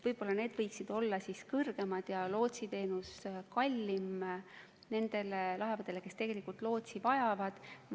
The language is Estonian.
Võib-olla need võiksid siis suuremad olla ja lootsiteenus kallim nendele laevadele, mis tegelikult lootsi vajavad.